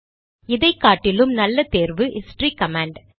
இதைக்காட்டிலும் நல்ல தேர்வு history command